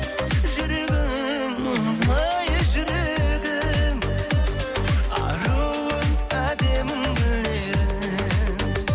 жүрегім жүрегім аруым әдемім гүл едің